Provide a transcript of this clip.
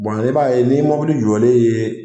i b'a ye ni ye mɔbili jɔlen ye